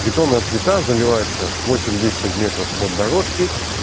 бетонная плита заливается восемь десять сантиметров от дорожки